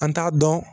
An t'a dɔn